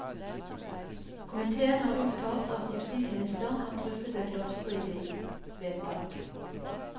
Komitéen har uttalt at justisministeren har truffet et lovstridig vedtak.